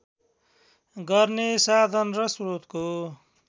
गर्ने साधन र श्रोतको